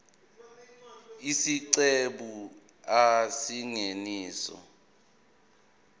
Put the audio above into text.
isiqephu a isingeniso